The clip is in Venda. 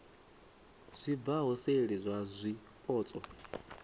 zwi bvaho seli zwa zwipotso